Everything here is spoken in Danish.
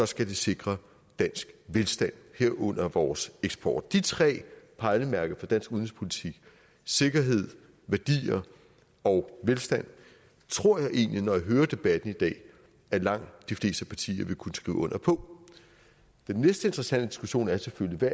skal sikre dansk velstand herunder vores eksport de tre pejlemærker for dansk udenrigspolitik sikkerhed værdier og velstand tror jeg egentlig når jeg hører debatten i dag at langt de fleste partier vil kunne skrive under på den næste interessante diskussion er selvfølgelig hvad